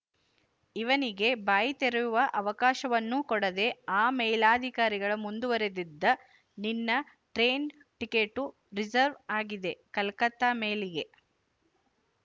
ಇವನಿಗೆ ಬಾಯಿ ತೆರೆಯುವ ಅವಕಾಶವನ್ನೂ ಕೊಡದೇ ಆ ಮೇಲಧಿಕಾರಿ ಮುಂದುವರೆದಿದ್ದ ನಿನ್ನ ಟ್ರೇನ್ ಟಿಕೆಟ್ಟು ರಿಝರ್ವ್ ಆಗಿದೆಕಲಕತ್ತಾ ಮೇಲಿಗೆ